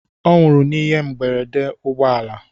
Ọ nwụrụ n'ihe mberede ụgbọ ala.